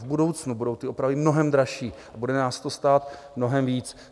V budoucnu budou ty opravy mnohem dražší a bude nás to stát mnohem víc.